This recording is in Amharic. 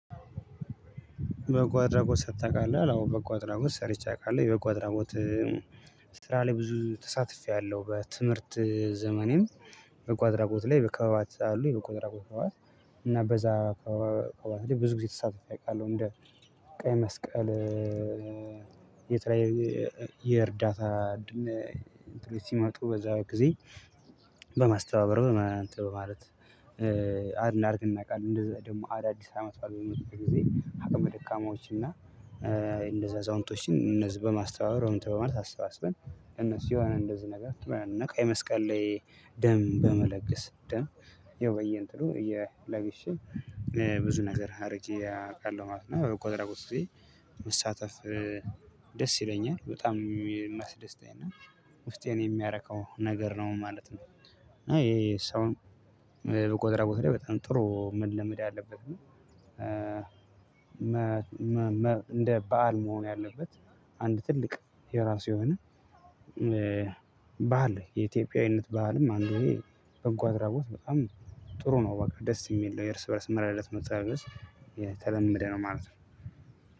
በጎአድራጎት ሰርተህ ታውቃለህ አዎ በጎአድራጎት ሰርቼ አቃለሁ የበጎአድራጎት ስራ ላይ ብዙ ተሳትፌያለሁ። በትምህርት ዘመኔም በጎ አድራጎት ላይ በከበባት አሉ የቆ አድራጎት ከበባት። በዛ ከበዛ ብዙ ጊዜ ተሳታፊ አውቃለሁ። እንደ ቀይ መስቀል የትራይ የእርዳታ እንትን ሲመጡ በዛ ጊዜ በማስተባበር በማለት አድን አርት እናውቃለን። እንደዛ ደግሞ አዳዲስ አመትባል በመጡበት ጊዜ አቅም ደካማዎችንን እና እንደዛ አዛውንቶችን እነዚህ በማስተባበር እንትን በማለት አስባስበን እነሱ የሆነ እንደዚህ ነገር ትበራለህ። እና የመስቀል ላይ ደም በመለገስ ደም የወየን ጥሩ እየለ ግሼ ብዙ ነገር አድርጌ አውቃለሁ ማለት ነው። ቆጠራ ቆጥሮ እዚህ መሳተፍ ይለኛል በጣም የሚያስደስተኝ እና ውስጤን የሚያረካው ነገር ነው ማለት ነው። አይ ይሄ ሰው በቆጠራው በጣም ጥሩ መለመድ ያለበት ነው። እንደ በዓል መሆን ያለበት አንድ ትልቅ የራሱ የሆነ ባህል የኢትዮጵያዊነት ባህልም አንዱ ወይ በጎአድራጎት በጣም ጥሩ ነው። ወደ ደስ የሚል የርስ በእርስ መረጃዎች መጸለየት የተለመደ ነው ማለት ነው።